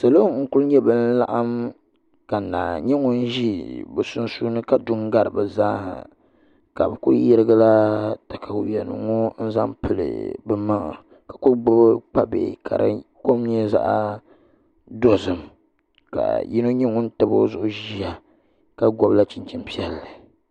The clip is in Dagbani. Salo n ku nyɛ bin laɣam ka naa nyɛ ŋun ʒi bi sunsuuni ka du n gari bi zaaha ka bi ku yirigila katawiya nim ŋo n zaŋ pili bi maŋa ka ku gbubi kpa bihi ka di kom nyɛ zaɣ dozim ka yino nyɛ ŋun tabi o zuɣu ʒiya ka gbubila chinchin piɛlli